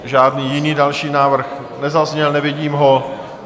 Žádný jiný další návrh nezazněl, nevidím ho.